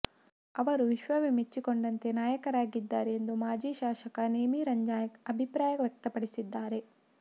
ಅವರು ವಿಶ್ವವೇ ಮೆಚ್ಚಿಕೊಂಡಂತೆ ನಾಯಕರಾಗಿದ್ದಾರೆ ಎಂದು ಮಾಜಿ ಶಾಸಕ ನೇಮಿರಾಜ್ನಾಯ್ಕ ಅಭಿಪ್ರಾಯ ವ್ಯಕ್ತಪಡಿಸಿದ್ದಾರೆ